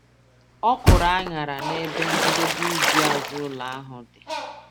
Ọ kụrụ aṅara nebe njedebe ubi azụ ụlọ ahụ dị.